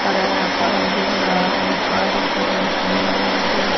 हरा हरा पार्क दिख रहा है एक पार्क है इसमें यहां पे--